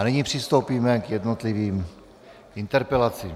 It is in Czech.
A nyní přistoupíme k jednotlivým interpelacím.